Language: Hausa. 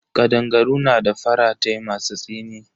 Kadangaru na da faratai masu tsini.